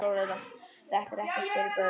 Þetta er ekki fyrir börn.